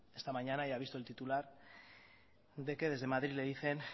esta mañana y ha visto el titular de que desde madrid le dicen